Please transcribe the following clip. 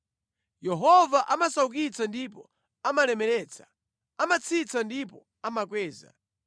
Yehova amasaukitsa ndipo amalemeretsa, amatsitsa ndipo amakweza.